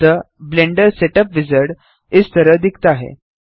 अतः Blender setup wizard इस तरह दिखता है